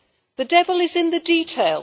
The devil is in the detail.